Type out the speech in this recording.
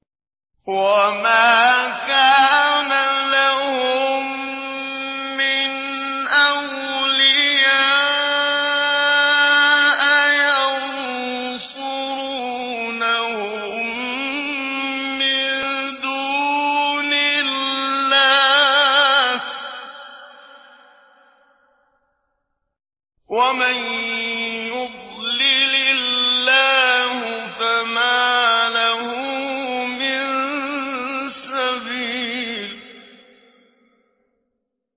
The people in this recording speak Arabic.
وَمَا كَانَ لَهُم مِّنْ أَوْلِيَاءَ يَنصُرُونَهُم مِّن دُونِ اللَّهِ ۗ وَمَن يُضْلِلِ اللَّهُ فَمَا لَهُ مِن سَبِيلٍ